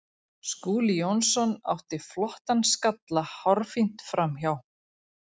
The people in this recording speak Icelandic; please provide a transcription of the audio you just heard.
Skúli Jónsson átti flottan skalla hárfínt framhjá.